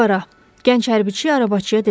Gənc hərbiçi arabaçıya dedi: